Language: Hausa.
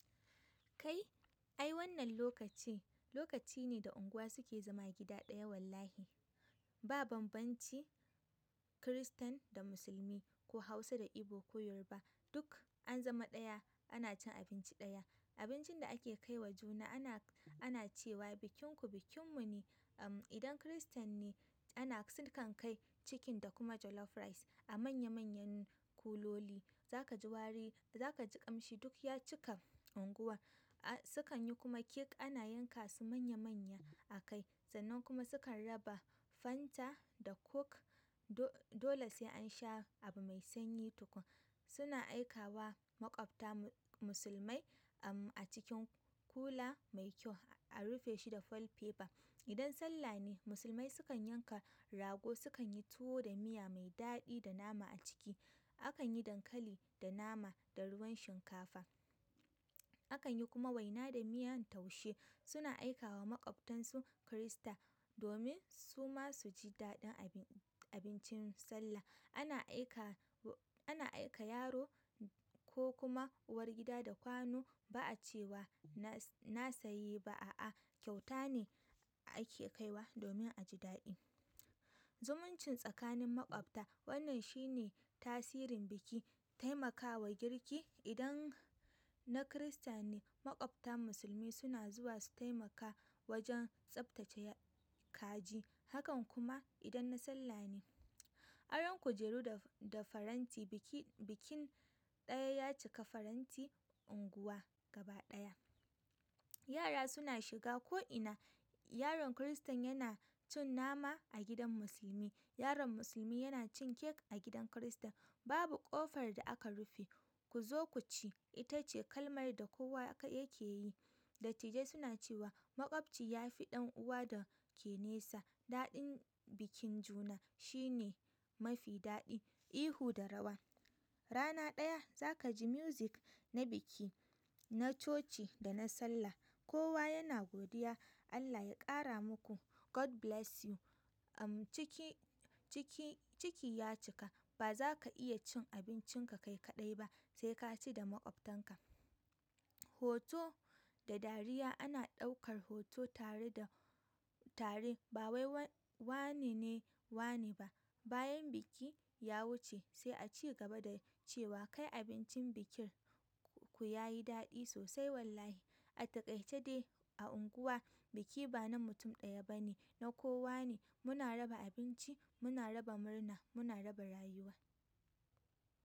Kai, ai wannan lokaci, lokaci ne da unguwa suke zama gida ɗaya wallahi. Ba banbanci Kiristan da musulmi ko Hausa da Igbo ko Yoruba, duk an zama ɗaya ana cin abinci ɗaya. Abincin da ake kai wa juna ana, ana cewa bikinku bikinmu ne. Uhm, idan Kiristan ne ana, su kan kai chicken da kuma jollof rice a manya manyan kuloli. Za ka ji wari, za ka ji ƙamshi duk ya cika unguwa. Su kan yi kuma cake ana yanka su manya manya akai sannan kuma sukan raba fanta da coke do-dole sai an sha abu mai sanyi tukun. Suna aika wa maƙwabta mu-musulmai, uhm, a cikin kula mai kyau a rufe shi da foil paper. Idan Sallah ne, musulmai sukan yanka rago sukan yi tuwo da miya mai daɗi da nama a ciki. Akan yi dankali da nama da ruwan shinkafa. Akan yi kuma waina da miyan taushe. Suna aikawa maƙwabtansu Kirista domin su ma su ji daɗin abin-abincin Sallah. Ana aika, ana aika yaro ko kuma uwar gida da kwano ba a cewa na-na sayi ba a'a kyauta ne ake kaiwa domin a ji daɗi. Zumuncin tsakanin maƙwabta wannan shi ne tasirin biki. Taimakawa girki idan na Kirista ne, maƙwabta musulmi suna zuwa su taimaka wajen tsaftace kaji. Hakan kuma idan na Sallah ne. Aron kujeru da-da faranti, biki, bikin ɗaya ya cika faranti unguwa gaba ɗaya. Yara suna shiga ko'ina. Yaron Kiristan yana cin nama a gidan musulmi. Yaron musulmi yana cin cake a gidan Kirista. Babu ƙofar da aka rufe. "Ku zo ku ci" ita ce kalmar da kowa yake yi. Dattijai suna cewa maƙwabci ya fi ɗan'uwa da ke nesa. Daɗin bikin juna shi ne mafi daɗi. Ihu da rawa. Rana ɗaya za ka ji music na biki, na coci da na Sallah. Kowa yana godiya. Allah ya ƙara muku. God bless you. Uhm, ciki, ciki, ciki ya cika. Ba za ka iya cin abincinka kai kaɗai ba sai ka ci da maƙwabtanka. Hoto da dariya, ana ɗaukar hoto tare da, tare ba wai wane, ne wane ba. Bayan biki ya wuce sai a ci gaba da cewa kai abincin bikin ku ya yi daɗi sosai wallahi. A taƙaice dai a unguwa biki ba na mutum ɗaya ba ne, na kowa ne. Muna raba abinci, muna raba murna, muna raba rayuwa.